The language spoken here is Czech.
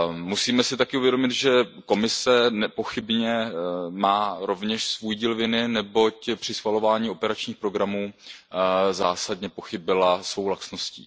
Musíme si také uvědomit, že Komise nepochybně má rovněž svůj díl viny, neboť při schvalování operačních programů zásadně pochybila svou laxností.